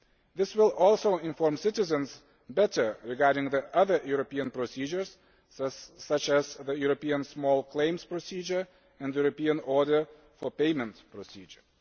This will also inform citizens better regarding the other European procedures such as the European Small Claims Procedure and the European Order for Payment Procedure.